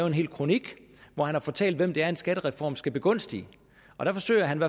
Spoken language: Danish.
en hel kronik hvor han har fortalt hvem det er en skattereform skal begunstige og dér forsøger han